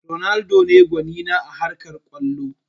Ronaldo ne gwani na a harkar kwallo